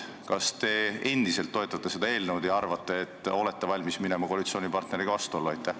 Kas te endiselt toetate seda eelnõu ja arvate, et olete valmis minema koalitsioonipartneriga vastuollu?